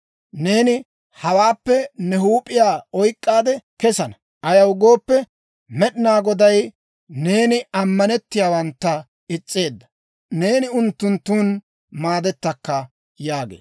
Neeni hawaappekka ne huup'iyaa oyk'k'aade kesana. Ayaw gooppe, Med'inaa Goday neeni ammanettiyaawantta is's'eedda. Neeni unttunttun maadettakka» yaagee.